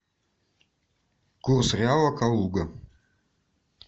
курс реала калуга